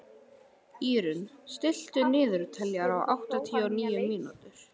Írunn, stilltu niðurteljara á áttatíu og níu mínútur.